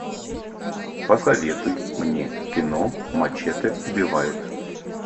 посоветуй мне кино мачете убивает